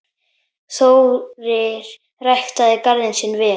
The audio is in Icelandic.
Þórir ræktaði garðinn sinn vel.